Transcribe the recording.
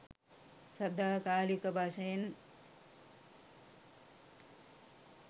සදාකාලික වශයෙන්